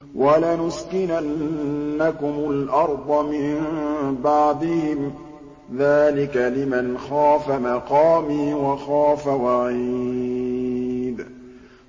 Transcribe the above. وَلَنُسْكِنَنَّكُمُ الْأَرْضَ مِن بَعْدِهِمْ ۚ ذَٰلِكَ لِمَنْ خَافَ مَقَامِي وَخَافَ وَعِيدِ